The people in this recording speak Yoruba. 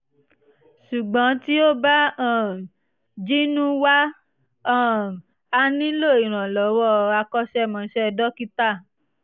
ṣùgbọ́n tí ó bá um jinnú wà um á nílò ìrànlọ́wọ́ akọ́ṣẹ́mọṣẹ́ dókítà